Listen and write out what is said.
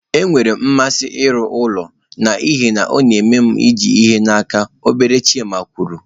Enwere m mmasị n'ịrụ ụlọ n'ihi na ọ na-eme m iji ihe n'aka, obere Chima kwuru.